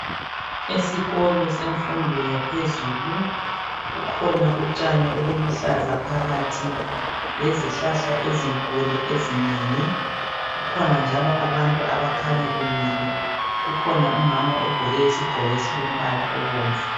Esikolo semfundo yaphezulu kukhona utshani obuluhlaza phakathi lezihlahla ezinkulu ezinengi. Kukhona njalo abantu abakhanya bemile. Kukhona umama ogqoke isigqoko esilombala obomvu